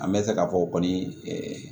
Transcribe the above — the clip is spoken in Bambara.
An bɛ se k'a fɔ kɔni